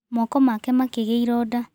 Moko make makĩ gia iroda